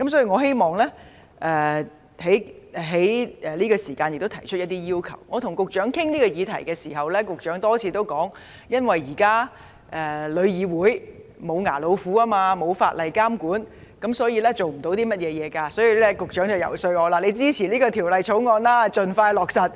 我與局長討論這項議題時，局長多次表示，由於現時香港旅遊業議會是"無牙老虎"，也沒有法例監管，沒有阻嚇作用，所以，局長遊說我支持《條例草案》盡快落實。